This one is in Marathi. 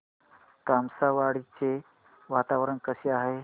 तामसवाडी चे वातावरण कसे आहे